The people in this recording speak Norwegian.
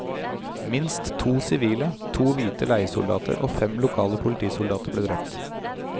Minst to sivile, to hvite leiesoldater og fem lokale politisoldater ble drept.